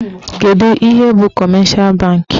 Kedụ ihe bụ kọmeshal bankị?